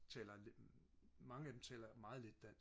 taler lidt mange af dem taler meget lidt dansk